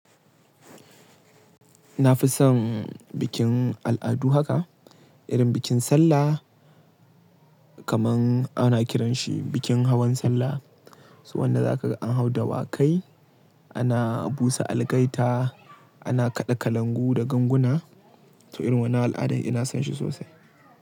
Na fi son bikin al'adu haka, irin bikin sallah kaman ana kiranshi bikin hawan sallah. So wanda za ka an hau dawakai, ana busa algaita, ana kaɗa kalangu da ganguna. So irin wannan al'ada ina son shi sosai.